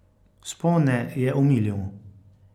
Vzpone je omilil.